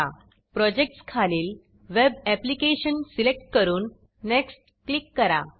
projects projects खालील web application web application select करून next next click करा